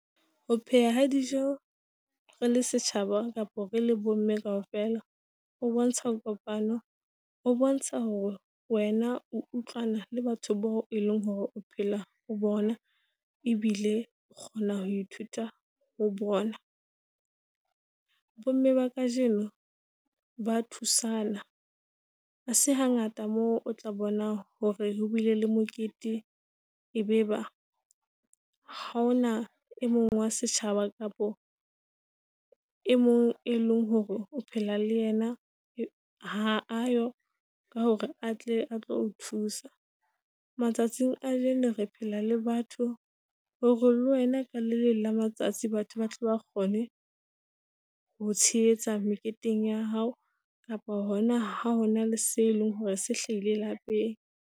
Ho pheha ha dijo rele setjhaba kapa re le bomme kaofela ho bontsha kopano. Ho bontsha hore wena o utlwana le batho bao e leng hore o phela ho bona ebile o kgona ho ithuta ho bona. Bomme ba kajeno ba thusana, ha se hangata mo o tla bona hore ho bile le mokete e be ba ha ona e mong wa setjhaba kapo e mong e leng hore o phela le yena ha ayo ka hore atle a tlo o thusa. Matsatsing a kajeno re phela le batho hore le wena ka le leng la matsatsi batho ba tlo ba kgone ho tshehetsa meketeng ya hao, kapa hona ha hona le se leng hore se hlahile lapeng.